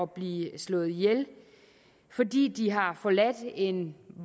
blive slået ihjel fordi de har forladt en